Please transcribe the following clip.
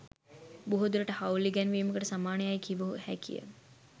බොහෝ දුරට හවුල් ඉගැන්වීමකට සමාන යැයි කිව හැකි ය.